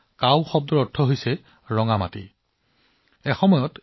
কাভি চিত্ৰত ভাৰতৰ প্ৰাচীন ইতিহাসৰ বিষয়ে সামৰি লোৱা হৈছে